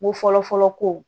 N ko fɔlɔfɔlɔ kow